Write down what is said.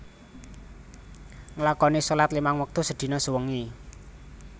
Nglakoni sholat limang wektu sedina sewengi